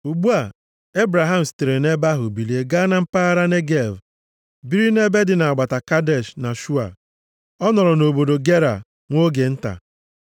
Ugbu a, Ebraham sitere nʼebe ahụ bilie gaa na mpaghara Negev biri nʼebe dị nʼagbata Kadesh na Shua. Ọ nọrọ nʼobodo Gera nwa oge nta.